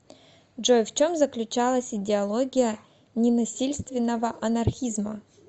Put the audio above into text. джой в чем заключалась идеология ненасильственного анархизма